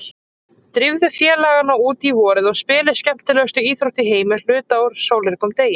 Drífðu félagana út í vorið og spilið skemmtilegustu íþrótt í heimi hluta úr sólríkum degi.